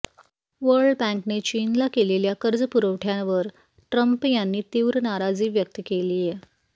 world बँकेने चीनला केलेल्या कर्ज पुरवठ्यावर ट्रम्प यांनी तीव्र नाराजी व्यक्त केलीय